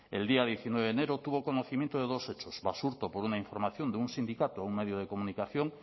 el día diecinueve de enero tuvo conocimiento de dos hechos basurto por una información de un sindicato a un medio de comunicación